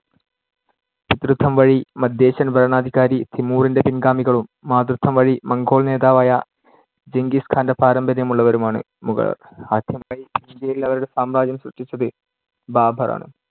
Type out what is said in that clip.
പിതൃത്വം വഴി മദ്ധ്യേഷ്യൻ ഭരണാധികാരി തിമൂറിന്‍ടെ പിൻ‌ഗാമികളും മാതൃത്വം വഴി മംഗോൾ നേതാവായ ജെംഗിസ് ഖാന്‍ടെ പാരമ്പര്യം ഉള്ളവരുമാണ്‌ മുഗളർ. ആദ്യമായി ഇന്ത്യയിൽ അവരുടെ സാമ്രാജ്യം സൃഷ്ടിച്ചത് ബാബർ ആണ്.